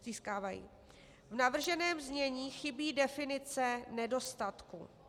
V navrženém znění chybí definice nedostatku.